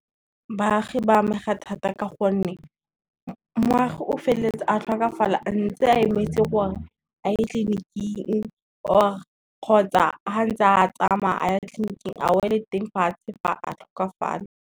Baagi ba amega thata ka gonne, moagi o feleletsa a tlhokafala a ntse a emetse gore a ye tleliniking, kgotsa ha ntsa tsamaya a ya tleliniking a wele teng fatshe fa a tlhokafala.